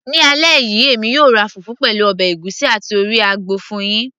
ní alẹ́ yìí, èmi yóò ra fùfú, pẹ̀lú ọbẹ̀ ègúsí àti orí àgbò fún yín